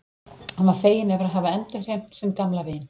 Hann var feginn yfir að hafa endurheimt sinn gamla vin.